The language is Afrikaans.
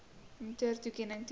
mtur toekenning teenoor